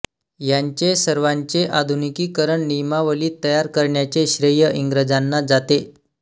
यांचे सर्वांचे आधुनिकीकरण नियमावली तयार करण्याचे श्रेय इंग्रजांना जाते